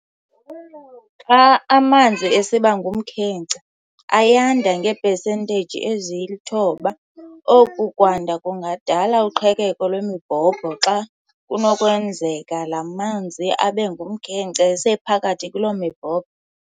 Xa amanzi esiba ngumkhenkce, ayanda ngee-pesenteyiji ezi-9. Oku kwanda kungadala uqhekeko lwemibhobho xa kunokwenzeka laa manzi abengumkhenkce esengaphakathi kuloo mibhobho.